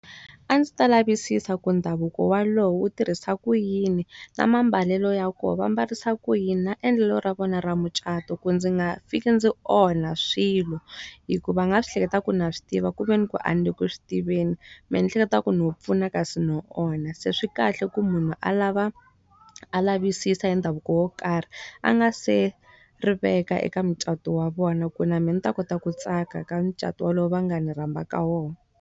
A ndzi ta lavisisa ku ndhavuko wolowo wu tirhisa ku yini. Na ma mbalelo ya koho, va mbarisa ku yini? Na endlelo ra vona ra mucato, ku ndzi nga fiki ndzi onha swilo. Hikuva a nga swi hleketaka ku na swi tiva ku ve ni ku a ni le ku swi tiveni, mehe ni hleketa ku no pfuna kasi no onha. Se swi kahle ku munhu a lava a lavisisa hi ndhavuko wo karhi, a nga se ri veka eka mucato wa vona. Ku na mehe ni ta kota ku tsaka ka mucato wa lowu va nga ni rhamba ka wona.